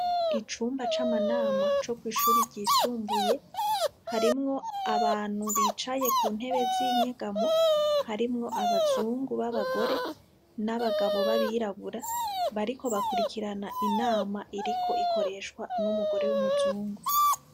Icumba c'amanama co kwishure ryisumbuye, harimwo abantu bicaye ku ntebe z'inyegamo; harimwo abazungu b'abagore, n'abagabo b'abirabura, bariko bakurikirana inama iriko ikoreshwa n'umugore w'umuzungu.